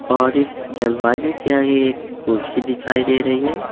और इस दरवाजे के आगे एक कुर्सी दिखाई दे रही है।